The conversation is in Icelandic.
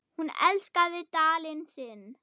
Hún elskaði Dalinn sinn.